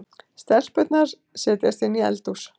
Stelpurnar setjast inn í eldhús.